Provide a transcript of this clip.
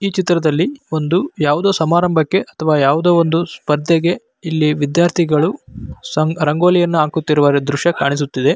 ಈ ಚಿತ್ರದಲ್ಲಿ ಒಂದು ಯಾವ್ದೋ ಸಮಾರಂಭಕ್ಕೆ ಅಥವಾ ಯಾವ್ದೋ ಒಂದು ಸ್ಪರ್ಧೆಗೆ ಇಲ್ಲಿ ವಿದ್ಯಾರ್ಥಿಗಳು ಸಂಗ್ ರಂಗೋಲಿಯನ್ನ ಹಾಕುತ್ತಿರುವ ದೃಶ್ಯ ಕಾಣಿಸುತ್ತಿದೆ.